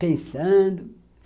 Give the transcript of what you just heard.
pensando.